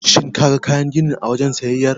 Shin kaga kayan gini a wajen siyayyar?